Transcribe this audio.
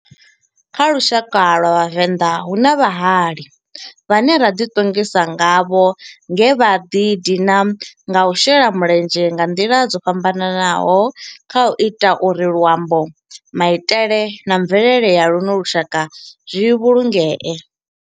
Kha lushaka lwa vhavenḓa, hu na vhahali vhane ra di tongisa ngavho nge vha di dina nga u shela mulenzhe nga ndila dzo fhambananaho khau ita uri luambo, maitele na mvelele ya luno lushaka zwi vhulungee.